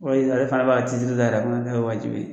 ale fana b'a ka titiri da a yɛrɛ kan ye wajibi ye.